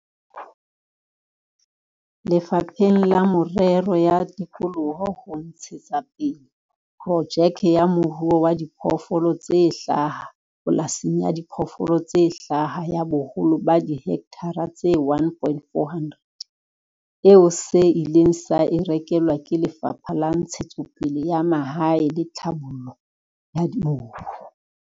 Lefapheng la Merero ya Tikoloho ho ntshe tsapele projeke ya moruo wa diphoofolo tse hlaha pola sing ya diphoofolo tse hlaha ya boholo ba dihekthara tse 1 400, eo se ileng sa e rekelwa ke Lefapha la Ntshetsopele ya Mahae le Tlhabollo ya Mobu.